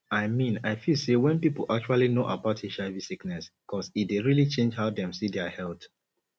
i mean i feel say wen people actually know about hiv sickness cause e dey really change how dem see dia health